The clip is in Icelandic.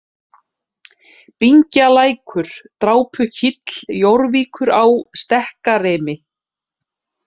Bingjalækur, Drápukíll, Jórvíkurá, Stekkarimi